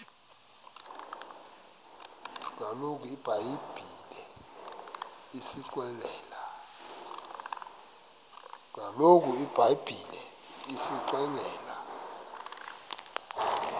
kaloku ibhayibhile isixelela